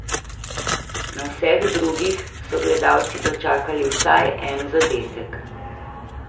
Na vseh drugih so gledalci dočakali vsaj en zadetek.